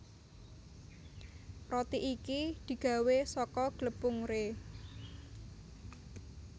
Roti iki digawé saka glepung rye